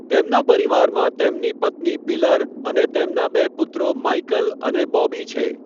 તેમના પરિવારમાં તેમની પત્ની પિલર અને તેમના બે પુત્રો માઈકલ અને બૉબી છે.